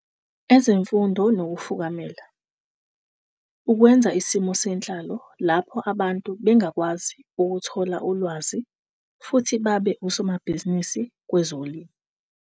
Ezemfundo nokufukamela - ukwenza isimo senhlalo lapho abantu bengakwazi ukuthola ulwazi futhi babe osomabhizinisi kwezolimo.